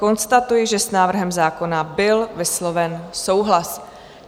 Konstatuji, že s návrhem zákona byl vysloven souhlas.